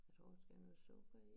Jeg tror der skal noget sukker i